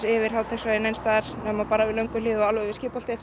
yfir Háteigsveginn neins staðar nema bara við Lönguhlíð og alveg við